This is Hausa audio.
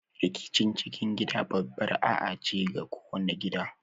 Rikicin cikin gida babbar A'A ce a kowani gida.